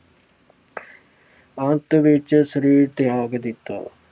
ਅੰਤ ਵਿੱਚ ਸਰੀਰ ਤਿਆਗ ਦਿੱਤਾ।